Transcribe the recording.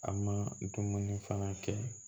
A ma dumuni fana kɛ